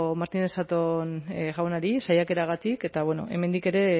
martínez zatón jaunari saiakeragatik eta hemendik ere